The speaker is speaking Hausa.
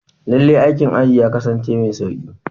Lallai, aikin aji ya kasance mai sauƙi.